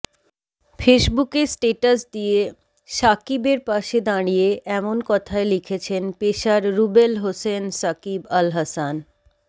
ফেসবুকে স্ট্যাটাস দিয়ে সাকিবের পাশে দাঁড়িয়ে এমন কথাই লিখেছেন পেসার রুবেল হোসেন সাকিব আল হাসান